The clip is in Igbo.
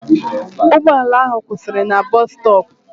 Ụgbọala ahụ ọ kwụsịrị na bọs stọọpụ?